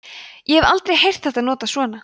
ég hef aldrei heyrt þetta notað svona